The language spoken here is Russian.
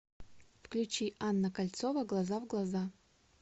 включи анна кольцова глаза в глаза